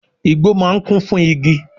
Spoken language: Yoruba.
Igbó máà ń kún fún igi